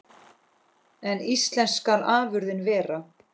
En íslensk skal afurðin vera.